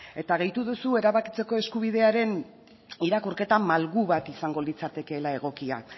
eta gehitu duzu erabakitzeko eskubidearen irakurketa malgu bat izango litzatekeela egokia